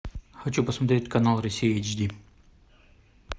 хочу посмотреть канал россия эйч ди